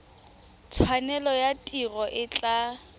tshwanelo ya tiro e tla